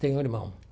Tenho um irmão.